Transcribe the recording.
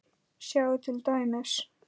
Sjáðu til dæmis